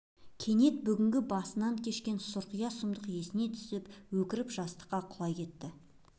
кенет бүгінгі басынан кешкен сұрқия сұмдық есіне түсіп өкіріп жастыққа құлай кетті